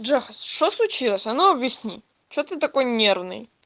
джехач что случилось а ну объясни что ты такой нервный